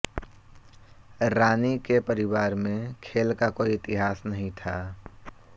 रानी के परिवार में खेल का कोई इतिहास नहीं था